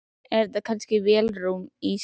Er þetta kannski vélarrúm í skipi?